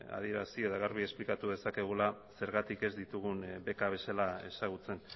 adierazi edo garbi esplikatu dezakegula zergatik ez ditugun beka bezala ezagutzen